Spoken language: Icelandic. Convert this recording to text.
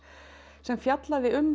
sem fjallaði um